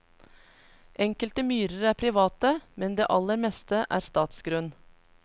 Enkelte myrer er private, men det aller meste er statsgrunn.